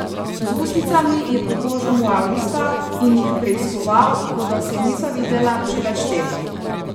Z ustnicami je pobožal moja usta in jih preiskoval, kot da se nisva videla že več tednov.